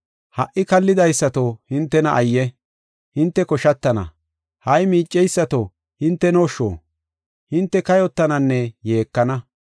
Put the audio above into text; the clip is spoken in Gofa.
Ha77i kallidaysato hintena ayye! hinte koshatana. Ha77i miiceysato hintenosho hinte kayotananne yeekana.